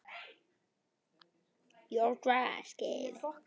Eigum við að bíða eftir honum?